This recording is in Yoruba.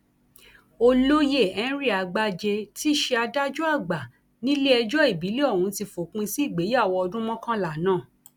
olóyè henry àgbájé tí í ṣe adájọ àgbà nílẹẹjọ ìbílẹ ọhún ti fòpin sí ìgbéyàwó ọdún mọkànlá náà